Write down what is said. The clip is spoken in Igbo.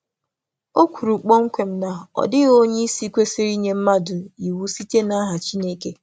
O kwuru kpọmkwem na ọ dịghị onye isi kwesịrị inye mmadụ iwu site n'aha Chineke.